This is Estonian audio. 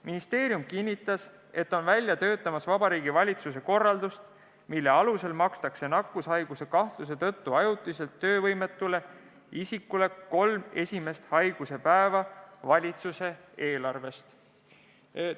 Ministeerium kinnitas, et on töötab välja Vabariigi Valitsuse korraldust, mille alusel makstakse nakkushaiguse kahtluse tõttu ajutiselt töövõimetule isikule kolm esimest haiguspäeva valitsuse eelarvest.